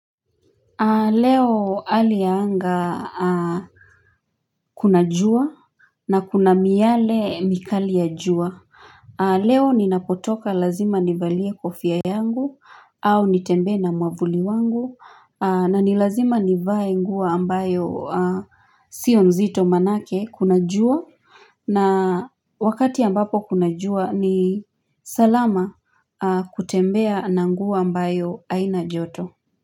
Leo hali ya anga kuna jua na kuna miyale mikali ya jua. Leo ninapotoka lazima nivalie kofia yangu au nitembe na mwavuli wangu na nilazima nivae nguo ambayo sio nzito manake kuna jua na wakati ambapo kuna jua ni salama kutembea na nguo ambayo haina joto.